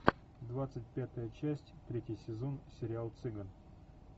двадцать пятая часть третий сезон сериал цыган